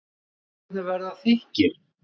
Fæturnir verða þykkir.